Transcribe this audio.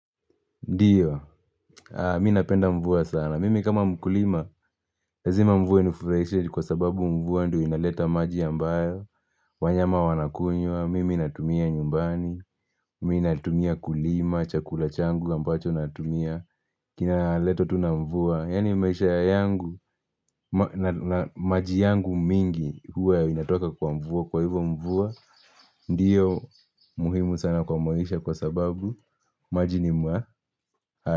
Ndiyo, mimi napenda mvua sana. Mimi kama mkulima, lazima mvua inifurahishe kwa sababu mvua ndio inaleta maji ambayo. Wanyama wanakunywa, mimi natumia nyumbani, mimi ninatumia kulima, chakula changu ambacho natumia. Kinaletwa tu na mvua, yaani maisha yangu maji yangu mingi huwa inatoka kwa mvua, kwa hivyo mvua ndio muhimu sana kwa maisha kwa sababu maji ni ya.